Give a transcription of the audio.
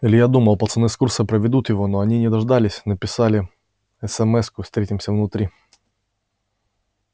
илья думал пацаны с курса проведут его но они не дождались написали эсэмэску встретимся внутри